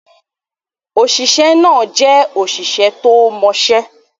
Òṣìṣẹ́ náà jẹ́ òṣìṣẹ́ tó mọ̀ọ́mọṣẹ́.